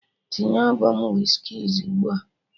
Tinye albọm Wizkid's ugbua!